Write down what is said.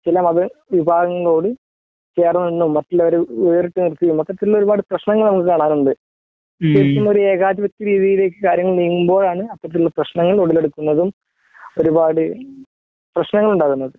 ചില മത വിഭാഗങ്ങളോട് ചേർന്ന് നിന്നും മറ്റുള്ളവരെ വേറിട്ടു നിർത്തിയും മൊത്തത്തിൽ ഒരു പാട് പ്രശ്നങ്ങൾ നമുക്ക് കാണാനുണ്ട് തികച്ചും ഒരു ഏകാധിപത്യ രീതിയിലേക്ക് കാര്യങ്ങള് നീങ്ങുമ്പോഴാണ് അത്തരത്തിലുള്ള പ്രശ്നങ്ങൾ ഉടലെടുക്കുന്നതും ഒരുപാട് പ്രശ്നങ്ങൾ ഉണ്ടാകുന്നത്